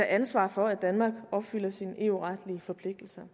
ansvar for at danmark opfylder sine eu retlige forpligtelser